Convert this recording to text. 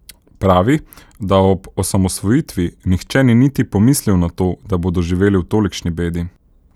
Pravi, da ob osamosvojitvi nihče ni niti pomislil na to, da bodo živeli v tolikšni bedi.